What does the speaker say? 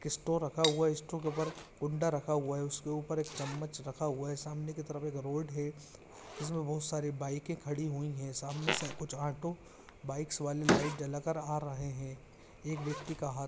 स्टो रखा हुआ हैं स्टो के ऊपर एक कुंडा रखा हुआ है उसके ऊपर एक चम्मच रखा हुआ हैं सामने की तरफ एक रोड ह जिसमें बहुत सारी बाइके खड़ी हुई हैं सामने से कुछ ऑटो बाइक्स वाले लाइट जला कर आ रहैं हैं। एक व्यक्ति का हाथ--